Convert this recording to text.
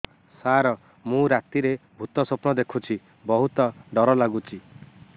ସାର ମୁ ରାତିରେ ଭୁତ ସ୍ୱପ୍ନ ଦେଖୁଚି ବହୁତ ଡର ଲାଗୁଚି